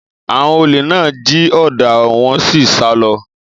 Àwon òlé nà jí òdá wón sí sà lọ.